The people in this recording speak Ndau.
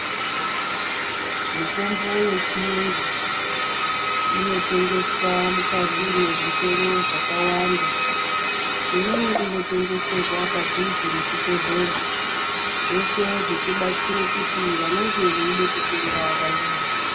Mitombo yechiyungu, inotengeswa mukati mezvitoro zvakawanda, imweni inotengeserwa padhuze neChibhedhlera. Zveshe zvichibatsira kuti vanenge veyida kutenga vayione.